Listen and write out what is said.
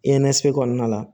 kɔnɔna la